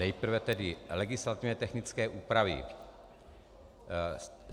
Nejprve tedy legislativně technické úpravy.